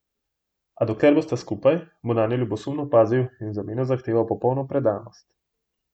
A dokler bosta skupaj, bo nanjo ljubosumno pazil in v zameno zahteval popolno predanost.